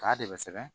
K'a de bɛ sɛbɛn